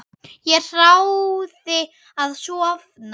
Ég þráði að sofna.